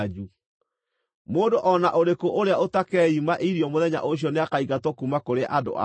Mũndũ o na ũrĩkũ ũrĩa ũtakeima irio mũthenya ũcio nĩakaingatwo kuuma kũrĩ andũ ao.